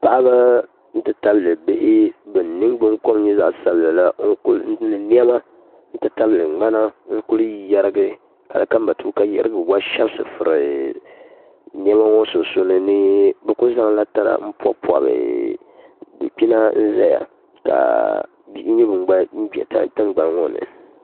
paɣiba nti tabili bihi ban ningbuŋkom nyɛ zaɣ' sabila la ni nema nti tabili ŋmana n-kuli yɛrigi hali ka matuuka yiɣirigu gba shɛbisi furi nema ŋɔ sunsuuni ni bɛ kuli zaŋla tana m-pɔbipɔbi dukpina n-zaya ka bihi nyɛ ban gba be tiŋgbani ŋɔ ni